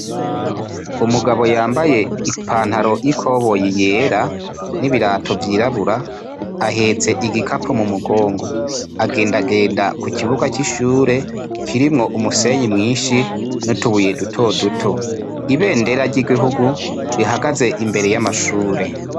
Umugabo yambaye ipantaro y'ikoboyi yera n'ibirato vyirabura ahetse igikapo mu mugongo, agendagenda ku kibuga c'ishure kirimwo umusenyi mwinshi n'utubuye duto duto, ibendera ry'igihugu rihagaze imbere y'amashure.